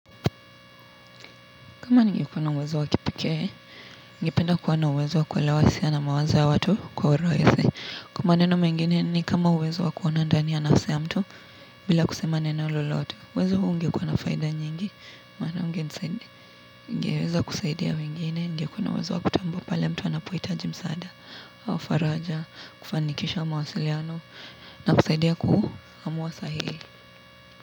Kama ningekuwa na uwezo wa kipekee, ningependa kuwa na uwezo wa kuelewa hisia na mawazo ya watu kwa urahisi. Kwa maneno mengine ni kama uwezo wa kuona ndani ya nafsi ya mtu bila kusema neno lolote. Uwezo huu ungekuwa na faida nyingi, maana ungeweza kusaidia wengine, ningekuwa na uwezo wa kutambua pale mtu anapohitaji msaada. Au faraja, kufanikisha mawasiliano na kusaidia kuamua sahihi.